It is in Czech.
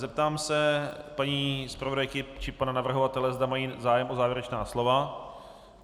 Zeptám se paní zpravodajky či pana navrhovatele, zda mají zájem o závěrečná slova.